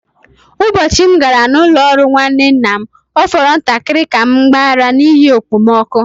Ụbọchị m gara n’ụlọ ọrụ nwanne nna m, ọ fọrọ ntakịrị ka m gbaa ara n’ihi okpomọkụ.